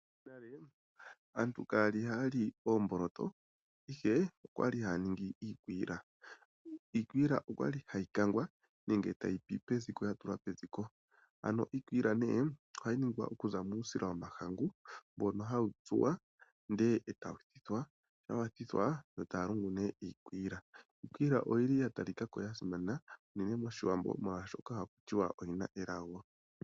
Monale aantu kaya li haya li oomboloto, ihe okwa li haya ningi iikwiila. Iikwiila okwa li hayi kangwa nenge tayi pi peziko, ya tulwa peziko. Ano iikwiila nee ohayi ningwa oku za muusila womahangu, mbono hawu tsuwa ndele etawu thithwa, shampa wa thithwa aantu ohaya lungu nee iikwiila. Iikwiila oyi li ya talika ko ya simana unene moshiwambo oshoka oya talika ko yi na elago.